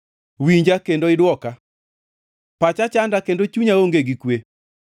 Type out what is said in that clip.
Winja kendo idwoka. Pacha chanda kendo chunya onge gi kwe